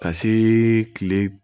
Ka see kile